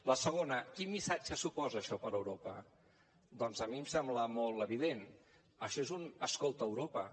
la segona quin missatge suposa això per a europa doncs a mi em sembla molt evident això és un escolta europa